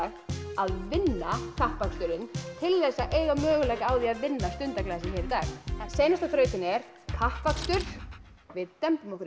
að vinna kappaksturinn til þess að eiga möguleika á því að vinna Stundarglasið hér í dag seinasta þrautin er kappakstur við dembum okkur í